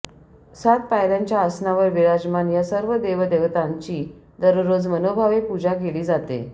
सात पायर्यांच्या आसनावर विराजमान या सर्व देवदेवतांची दररोज मनोभावे पूजा केली जाते